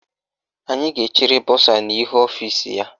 Anyị ga-echere bọsa n' ihu ọfisi ya.